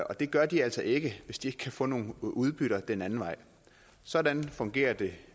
og det gør de altså ikke hvis ikke de kan få nogle udbytter den anden vej sådan fungerer det